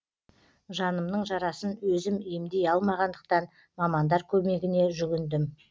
жанымның жарасын өзім емдей алмағандықтан мамандар көмегіне жүгіндім